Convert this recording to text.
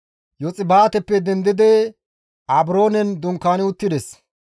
Yoxbaateppe dendidi Abroonen dunkaani uttides.